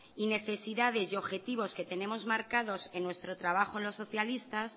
y necesidades y objetivos que tenemos marcado en nuestro trabajo los socialistas